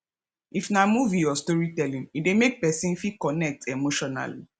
if na movie or story telling e de make persin fit connect emotionally